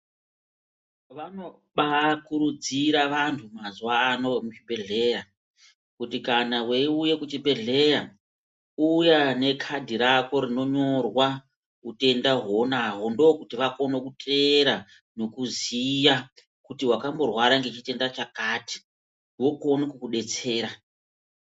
Vanobaakurudzira vanhu mazuwa ano muzvibhehlera kuti kana weiuye kuchibhehlera uya nekadhi rako rinonyorwa utenda hounahwo ndokuti vakone kuteera nekuziya kuti wakamborwara nechitenda chakati vokone kukudetsera.